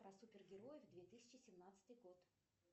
про супер героев две тысячи семнадцатый год